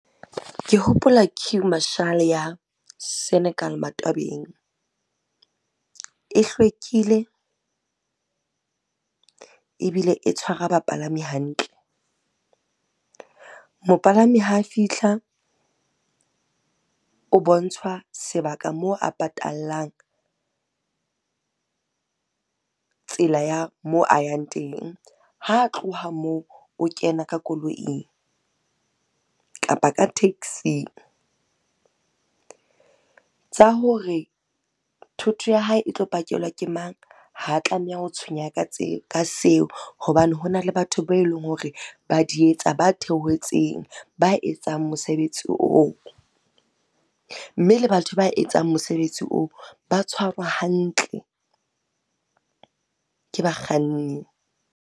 Ke hopola queue marshal ya Senekal, Matwabeng. E hlwekile, ebile e tshwara bapalami hantle. Mopalami ha fihla, o bontshwa sebaka moo a patallang, tsela ya moo a yang teng. Ha tloha moo, o kena ka koloing kapa ka taxing. Tsa hore thoto ya hae e tlo ke pakelwa ke mang, ha tlameha ho tshwenyeha ka seo hobane hona le batho bao e leng hore ba di etsa ba theohetseng, ba etsang mosebetsi oo. Mme le batho ba etsang mosebetsi oo ba tshwarwa hantle, ke bakganni.